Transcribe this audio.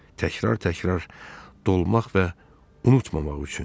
Təkrar-təkrar dolmaq və unutmamaq üçün.